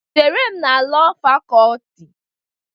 Chere m na Lọọ Fakọlti.